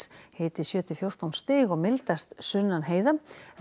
hiti sjö til fjórtán stig og mildast sunnan heiða